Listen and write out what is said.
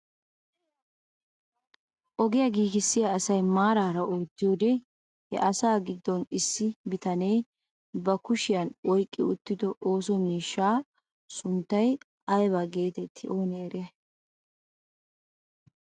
Ogiyaa giigissiyaa asay maarara oottiyoode he asaa giddon issi bitanee ba kushiyaan oyqqi uttido ooso miishshaa sunttay ayba getettii oonee eriyay?